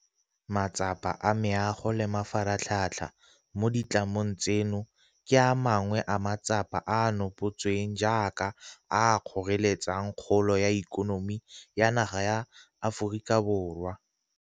Matsapa a meago le mafaratlhatlha mo ditlamong tseno ke a mangwe a matsapa a a nopotsweng jaaka a a kgoreletsang kgolo ya ikonomi ya naga ya Aforika Borwa.